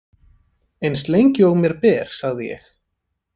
Eins lengi og mér ber, sagði ég.